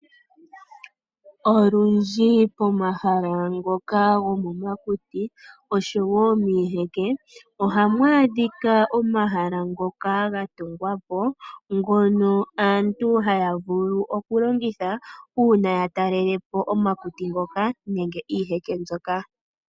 Olundji pomahala ngoka gomomakuti oshowo miiheke oha mwaadhika omahala ngoka ga tungwapo ngono aantu haya vulu okulongitha, uuna ya talelepo omati ngoka nenge iiheke mbyoka.